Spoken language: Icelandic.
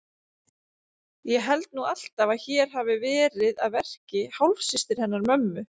Ég held nú alltaf að hér hafi verið að verki hálfsystir hennar mömmu.